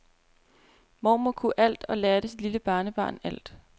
Mormor kunne alt og lærte sit lille barnebarn alt.